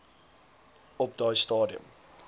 op daai stadium